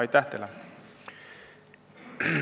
Aitäh teile!